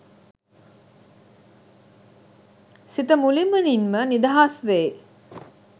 සිත මුළුමනින්ම නිදහස්වෙයි